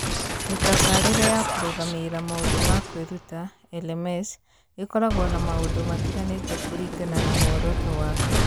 Mĩtabarĩre ya kũrũgamĩrĩra maũndũ ma kwĩruta(LMS) ĩkoragwo na maũndũ matiganĩte kũringana na muoroto waku.